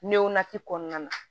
Newa ti kɔnɔna na